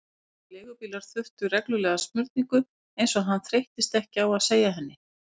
Því leigubílar þurftu reglulega smurningu, eins og hann þreyttist ekki á að segja henni.